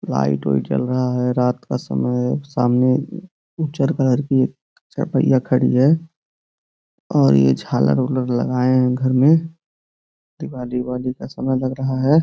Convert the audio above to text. Light वही चल रहा है रात का समय सामने उचर कलर की चपैया खड़ी है और ये झाला रोलर लगाए हैं घर में दिवाली वाली का समय लग रहा है।